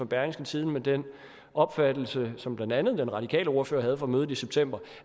berlingske tidende om den opfattelse som blandt andet den radikale ordfører havde fra mødet i september